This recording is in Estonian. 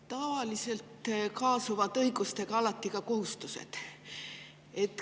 Tavaliselt kaasuvad õigustega alati ka kohustused.